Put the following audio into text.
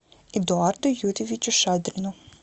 эдуарду юрьевичу шадрину